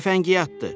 Cəfəngiyatdı!